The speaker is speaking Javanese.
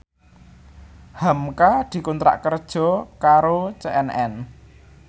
hamka dikontrak kerja karo CNN